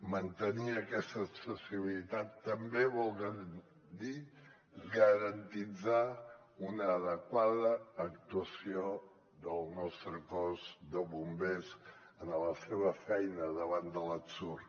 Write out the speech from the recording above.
mantenir aquesta accessibilitat també vol dir garantir una adequada actuació del nostre cos de bombers en la seva feina davant de l’ensurt